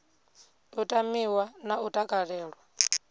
u tamiwa na u takalelwa